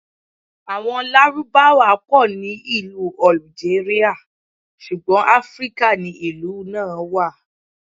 Àwọn Lárúbáwá pọ̀ ní ìlú Ọ̀lùjérìà, ṣùgbọ́n Afíríkà ni ìlú náà wà.